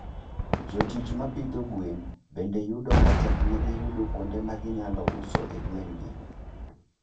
Jotich ma pidho gwen bende yudo ka teknegi yudo kuonde ma ginyalo usoe gwenegi.